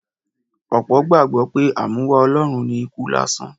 Ọ̀pọ̀ gbàgbọ́ pé A mú wá Ọlọ́run ni ikú lásán.